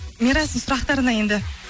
мирастың сұрақтарына енді